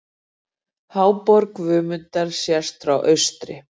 Háborg Guðmundar séð frá austri.